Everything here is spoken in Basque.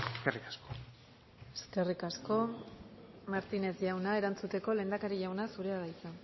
eskerrik asko eskerrik asko martínez jauna erantzuteko lehendakari jauna zurea da hitza